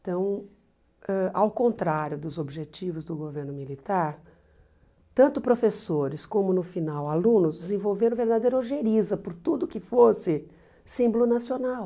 Então, ãh ao contrário dos objetivos do governo militar, tanto professores como, no final, alunos, desenvolveram verdadeira ojeriza por tudo que fosse símbolo nacional.